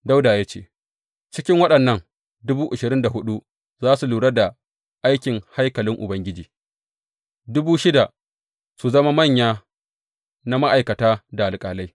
Dawuda ya ce, Cikin waɗannan, dubu ashirin da huɗu za su lura da aikin haikalin Ubangiji, dubu shida su zama manyan na ma’aikata da alƙalai.